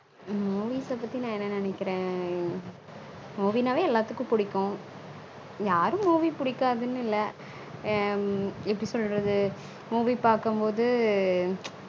movies பத்தி நா என்ன நெனைகிறன movie நாலே எல்லாத்தூகும் புடிக்கும் யாரும் movie புடிகாதுனு இல்ல ஹம் எப்படி சொல்லுறது movie பாக்கும் போது